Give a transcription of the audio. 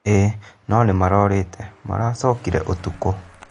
Ii no nĩmarorĩte maracokire ũtukũ